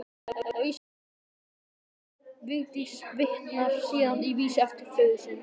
Vigdís forseti vitnar síðan í vísu eftir föður sinn: